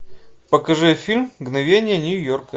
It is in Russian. покажи фильм мгновения нью йорка